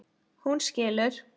Hún skilur.